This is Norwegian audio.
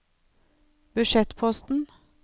budsjettposten